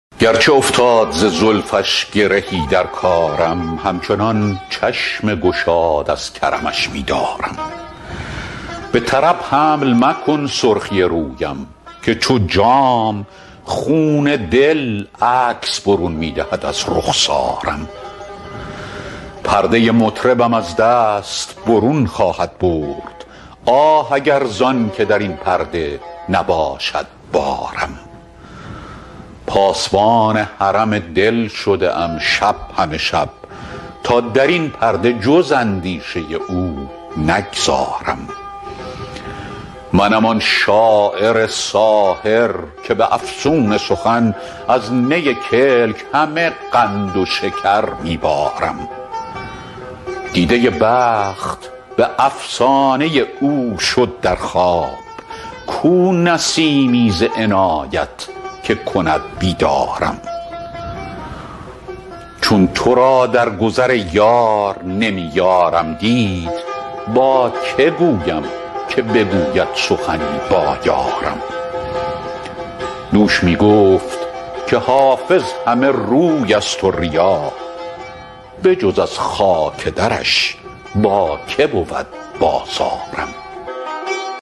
گرچه افتاد ز زلفش گرهی در کارم همچنان چشم گشاد از کرمش می دارم به طرب حمل مکن سرخی رویم که چو جام خون دل عکس برون می دهد از رخسارم پرده مطربم از دست برون خواهد برد آه اگر زان که در این پرده نباشد بارم پاسبان حرم دل شده ام شب همه شب تا در این پرده جز اندیشه او نگذارم منم آن شاعر ساحر که به افسون سخن از نی کلک همه قند و شکر می بارم دیده بخت به افسانه او شد در خواب کو نسیمی ز عنایت که کند بیدارم چون تو را در گذر ای یار نمی یارم دید با که گویم که بگوید سخنی با یارم دوش می گفت که حافظ همه روی است و ریا بجز از خاک درش با که بود بازارم